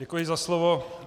Děkuji za slovo.